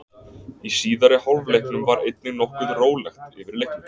Í síðari hálfleiknum var einnig nokkuð rólegt yfir leiknum.